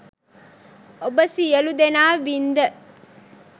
ඔබ සියළුදෙනා වින්ද